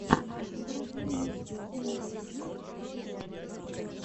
вруби микс эмэйзин ченнал